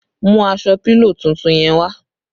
Mú aṣọ pílò tuntun yẹn wá!